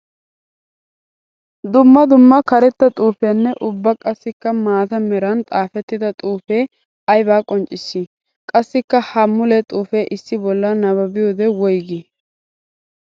Dumma dumma karetta xuufiyanne ubba qassikka maata meran xaafettidda xuufe aybba qonccissi? Qassikka ha mule xuufe issi bolla naababbiyodee woyggi?